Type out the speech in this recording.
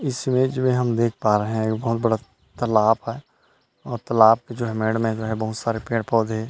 इस इमेज मे हम देख पा रहे हैं बहुत बड़ा तालाब है और जो तालाब जो है मेढ में हैं बहुत सारा पेड़ पौधे है।